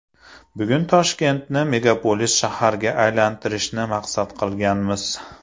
Bugun Toshkentni megapolis shaharga aylantirishni maqsad qilganmiz.